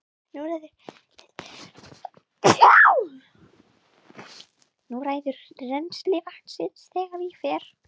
Þú ræður rennsli vatnsins þegar ég fer.